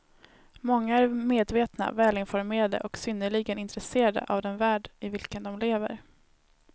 Många är med vetna, välinformerade och synnerligen intresserade av den värld i vilken de lever.